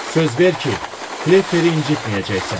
Söz ver ki, Klepperi incitməyəcəksən.